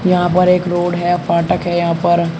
यहां पर एक रोड है फाटक है यहां पर।